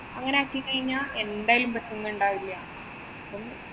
അങ്ങനെയാക്കി കഴിഞ്ഞാ എന്തായാലും പറ്റുന്നുണ്ടാവില്ല.